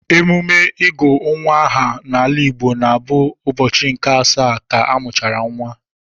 Emume ịgụ nwa aha n'ala Igbo na-abụ n'ụbọchị nke asaa ka a mụchara nwa.